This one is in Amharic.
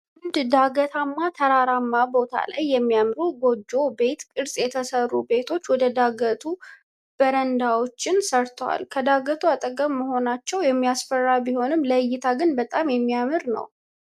በአንድ ዳገታማ ተራራማ ቦታ ላይ የሚያምሩ በጎጆ ቤት ቅርጽ የተሰሩ ቤቶች ወደ ዳገቱ በረንዳዎችን ሰርተዋል። ከዳገቱ አጠገብ መሆናቸው የሚያስፈራ ቢሆንም ለእይታ ግን በጣም የሚያምር ነው።